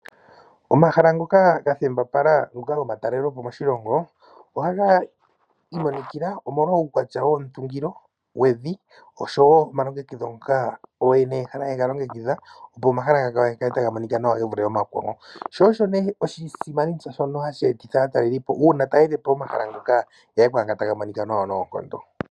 Omahala ngoka gathembapala ngoka gomatalelopo moshilongo ohaga imonikila omolwa uukwatya womutungilo wevi oshowo omalongekidho ngoka ooyene yehala haye ga longekidha opo omahala gawo ga kale taga monika nawa ge vule omakwawo. Sho osho nee oshisimanitsuuna shono hashi etitha aatalelipo uuna taya ende pomahala ngoka ya ye kwaanga taga monika nawa noonkondo.